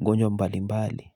magonjwa mbali mbali.